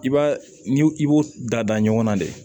I b'a n'i i b'o da da ɲɔgɔn na de